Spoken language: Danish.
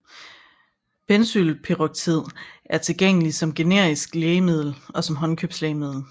Benzoylperoxid er tilgængelig som generisk lægemiddel og som håndkøbslægemiddel